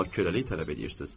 amma köləlik tələb edirsiz.